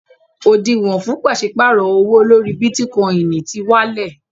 Òdìwọ̀n fún pàṣípàrọ̀ owó lórí Bítíkọinì ti wálẹ̀.